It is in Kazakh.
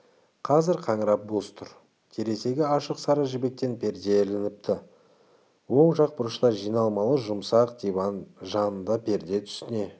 қазір қаңырап бос тұр терезеге ашық сары жібектен перде ілініпті оң жақ бұрышта жиналмалы жұмсақ диван жанында перде түсіне